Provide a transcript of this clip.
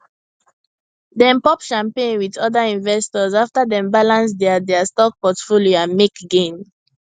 dem pop champagne with other investors after dem balance their their stock portfolio and make gain